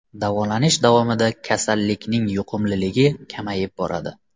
Davolanish davomida kasallikning yuqumliligi kamayib boradi.